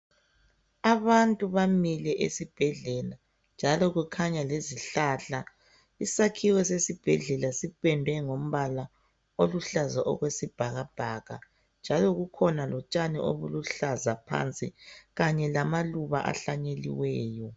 Abantu bamile esibhedlela njalo kukhanya lesihlahla isakhiwe sesibhedlela sipendwe ngombala oluhlaza okwesibhakabhaka njalo kukhona lotshani obuluhlaza phansi kanye lamaluba ahlanyeliweyo.